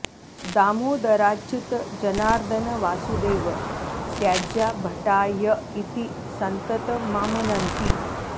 दामोदराच्युत जनार्दन वासुदेव त्याज्या भटा य इति सन्ततमामनन्ति